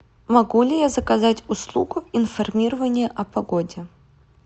могу ли я заказать услугу информирования о погоде